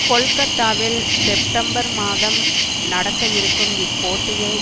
கொல்கத்தாவில் செப்டம்பர் மாதம் நடக்கயிருக்கும் இப்போட்டியை